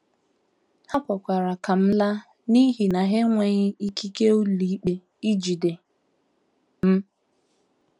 Ha kwere ka m laa n’ihi na ha enweghị ikike ụlọikpe ijide m.